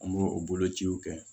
An b'o o bolociw kɛ